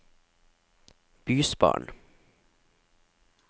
bysbarn